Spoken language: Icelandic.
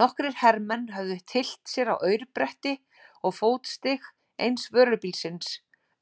Nokkrir hermenn höfðu tyllt sér á aurbretti og fótstig eins vörubílsins,